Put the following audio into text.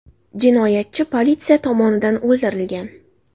Jinoyatchi politsiya tomonidan o‘ldirilgan.